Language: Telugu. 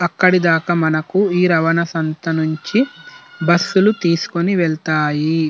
అక్కడిధాక మనకు ఈ రావణ సంత నుంచి బస్సులు తీసుకోని వెళతాయి.